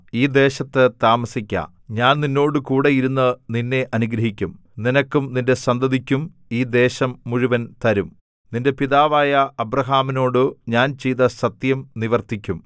ഈ ദേശത്ത് താമസിക്ക ഞാൻ നിന്നോടുകൂടെ ഇരുന്ന് നിന്നെ അനുഗ്രഹിക്കും നിനക്കും നിന്റെ സന്തതിക്കും ഈ ദേശം മുഴുവൻ തരും നിന്റെ പിതാവായ അബ്രാഹാമിനോടു ഞാൻ ചെയ്ത സത്യം നിവർത്തിക്കും